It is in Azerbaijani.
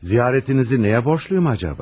Ziyarətinizi nəyə borcluyum acaba?